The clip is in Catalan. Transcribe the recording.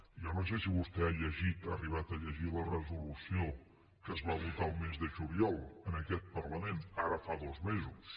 jo no sé si vostè ha llegit ha arribat a llegir la resolució que es va votar el mes de juliol en aquest parlament ara fa dos mesos